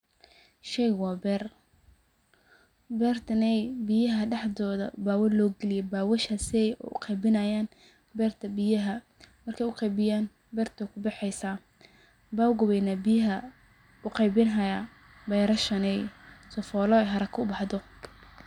Sheygan waa beer, beertaney biyaha dhaxdooda baa loo galiye beewal, bewashasey u qeybinayaan beerta biyaha. Intey u qeybiyaan beerta way ku baxeysaa ,bebka weyn biyaha u qeybin hayaa ,berashaney sifooley haraka u baxdo.